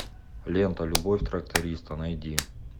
лента любовь тракториста найди